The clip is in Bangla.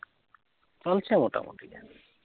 চলছে মোটামোটি